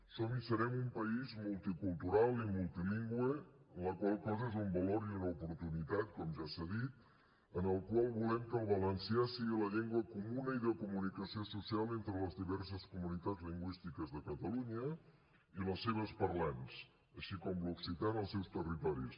som i serem un país multicultural i multilingüe la qual cosa és un valor i una oportunitat com ja s’ha dit en el qual volem que el valencià sigui la llengua comuna i de comunicació social entre les diverses comunitats lingüístiques de catalunya i les seves parlants així com l’occità en els seus territoris